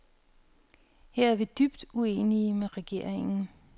Her er vi dybt uenige med regeringen.